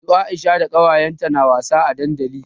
Su Aisha da kawayenta na wasa a dandali.